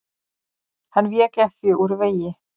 Hann vék ekki úr vegi.